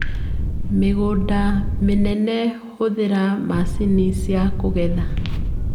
Mĩgũndainĩ mĩnene hũthĩra macini ciakũgetha.